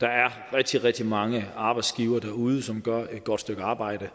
der er rigtig rigtig mange arbejdsgivere derude som gør et godt stykke arbejde